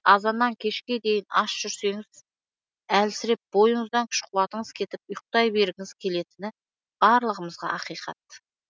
азаннан кешке дейін аш жүрсеніз әлсіреп бойыныздан күш қуатыныз кетіп ұйықтай бергіңіз келетіні барлығымызға ақиқат